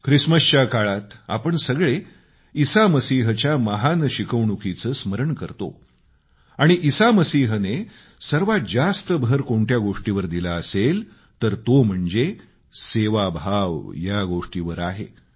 ख्रिसमसच्या काळात आपण सगळे ईसा मसीहच्या महान शिकवणुकीचे स्मरण करतो आणि ईसा मसीहने सर्वात जास्त भर कोणत्या गोष्टीवर दिला असेल तर तो म्हणजे सेवाभाव या गोष्टीवर आहे